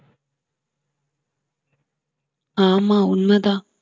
ஆமா உண்மைதான்